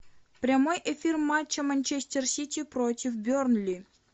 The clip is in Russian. прямой эфир матча манчестер сити против бернли